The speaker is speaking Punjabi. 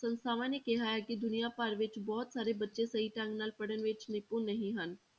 ਸੰਸਥਾਵਾਂ ਨੇ ਕਿਹਾ ਹੈ ਕਿ ਦੁਨੀਆਂ ਭਰ ਵਿੱਚ ਬਹੁਤ ਸਾਰੇ ਬੱਚੇ ਸਹੀ ਢੰਗ ਨਾਲ ਪੜ੍ਹਨ ਵਿੱਚ ਨਿਪੁੰਨ ਨਹੀਂ ਹਨ।